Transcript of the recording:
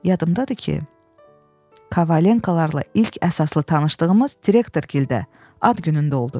Yadımdadır ki, Kovalenkalarla ilk əsaslı tanışlığımız direktor gildə ad günündə oldu.